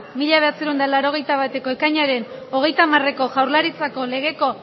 mila bederatziehun eta laurogeita bateko ekainaren hogeita hamareko jaurlaritzaren legeko